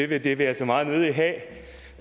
det vil jeg altså meget nødig